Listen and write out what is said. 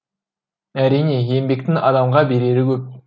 әрине еңбектің адамға берері көп